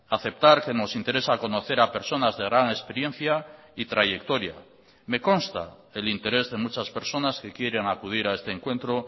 aceptar que nos interesa conocer a personas de gran experiencia y trayectoria me consta el interés de muchas personas que quieren acudir a este encuentro